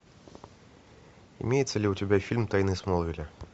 имеется ли у тебя фильм тайны смолвиля